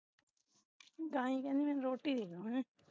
ਗਾਈ ਕਹਿੰਦੀ ਮੈਨੂੰ ਰੋਟੀ ਦੇਦੋ ਹੁ